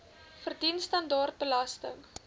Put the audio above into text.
verdien standaard belasting